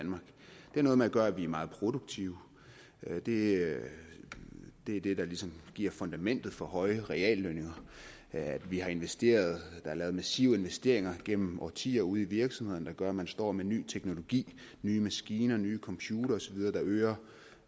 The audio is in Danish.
har noget med at gøre at vi er meget produktive det er det der ligesom giver fundamentet for høje reallønninger vi har investeret der er lavet massive investeringer gennem årtier ude i virksomhederne der gør at man står med ny teknologi nye maskiner nye computere osv der øger